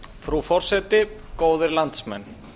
frú forseti góðir landsmenn